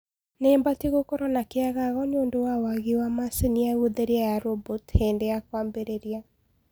nibatie gũkorwo na kiagago niundu wa waagi wa machĩnĩ ya gutherĩa ya robotĩ hindi ya kwambiriria